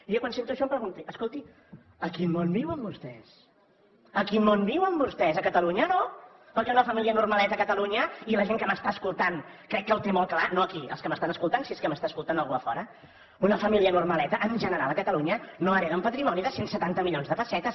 jo quan sento això em pregunto escolti a quin món viuen vostès a quin món viuen vostès a catalunya no perquè una família normaleta a catalunya i la gent que m’està escoltant crec que ho té molt clar no aquí els que m’estan escoltant si és que m’està escoltant algú a fora una família normaleta en general a catalunya no hereta un patrimoni de cent i setanta milions de pessetes